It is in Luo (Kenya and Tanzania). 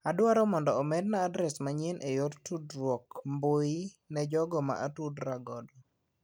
Adwaro mondo omedna adres manyien e yor tdruok ar mbui ne jogo ma atudo ra godo.